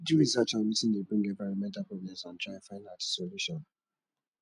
do research on wetin de bring environmental problems and try find out di solution